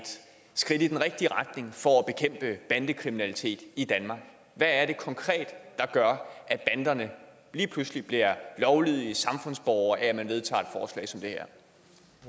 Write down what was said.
skridt i den rigtige retning for at bekæmpe bandekriminalitet i danmark hvad er det konkret der gør at banderne lige pludselig bliver lovlydige samfundsborgere af at man vedtager